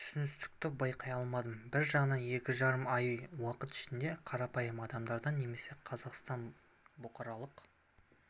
түсіністікті байқай алмадым бір жағынан екі жарым ай уақыт ішінде қарапайым адамдардан немесе қазақстан бұқаралық